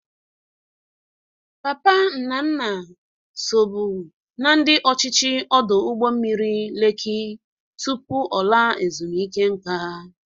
Papa Nnanna sobu na ndị ọchịchị ọdụ ụgbọ mmiri Leki tupu ọ laa ezumeike nka.